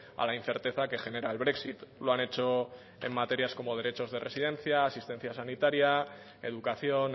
a la incerteza que genera el brexit lo han hecho en materias como derechos de residencia asistencia sanitaria educación